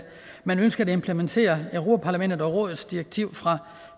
man ønsker at implementere europa parlamentet og rådets direktiv fra